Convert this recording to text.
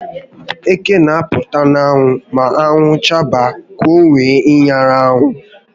Eké n'apụta n'anwụ ma anwụ chaba ka owee nyara anwụ